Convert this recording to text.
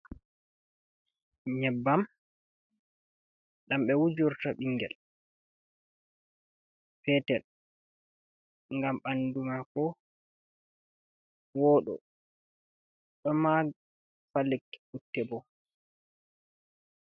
Nyebbam ɗam ɓe wujorto ɓingel petel ngam ɓandu mako woɗo ɗo mari ba Lekki putte bo.